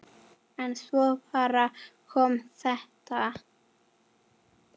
En svo bara kom þetta.